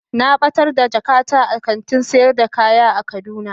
Na batar da jakata a kantin sayar da kaya a kaduna.